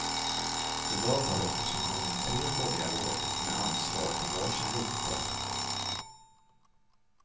I dag har oppositionen tre borgarråd med ansvar för varsin rotel.